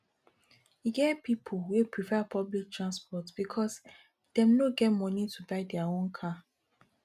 e get pipo wey prefer public transport because dem no get moni to buy their own car